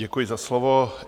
Děkuji za slovo.